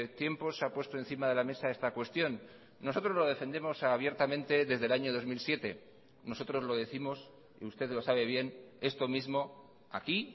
tiempos se ha puesto encima de la mesa esta cuestión nosotros lo defendemos abiertamente desde el año dos mil siete nosotros lo décimos usted lo sabe bien esto mismo aquí